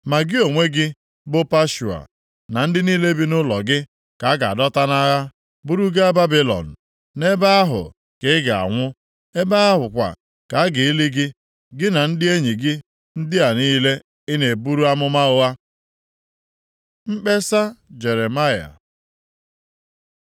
Ma gị onwe gị bụ Pashua, na ndị niile bi nʼụlọ gị, ka a ga-adọta nʼagha buru gaa Babilọn. Nʼebe ahụ ka ị ga-anwụ. Ebe ahụ kwa ka a ga-eli gị, gị na ndị enyi gị ndị a niile ị na-eburu amụma ụgha.’ ” Mkpesa Jeremaya